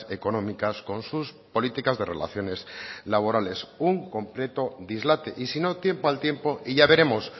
económicas con sus políticas de relaciones laborales un completo dislate y si no tiempo al tiempo y ya veremos